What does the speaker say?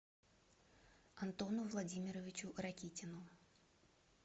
антону владимировичу ракитину